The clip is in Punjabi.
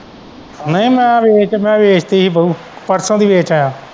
ਨਹੀਂ ਮੈ ਰੇਟ ਮੈਂ ਵੇਖ ਕੇ ਹੀ ਦਊ ਪਰਸੋਂ ਦੀ ਵੇਚ ਆਇਆ।